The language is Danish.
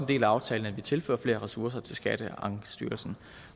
del af aftalen at vi tilfører flere ressourcer til skatteankestyrelsen